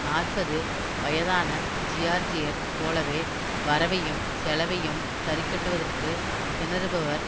நாற்பது வயதான ஜியார்ஜியர் போலவே வரவையும் செலவையும் சரிக்கட்டுவதற்குத் திணறுபவர்